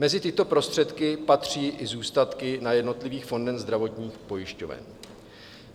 Mezi tyto prostředky patří i zůstatky na jednotlivých fondech zdravotních pojišťoven.